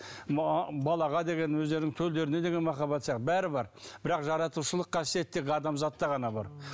балаға деген өздерінің төлдеріне деген махаббаты сияқты бәрі бар бірақ жаратушылық қасиет тек адамзатта ғана бар